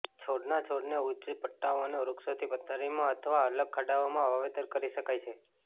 છોડના છોડને ઉચ્ચ પટ્ટાઓ અને વૃક્ષોથી પથારીમાં અથવા અલગ ખાડાઓમાં વાવેતર કરી શકાય છે